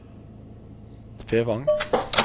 Fevang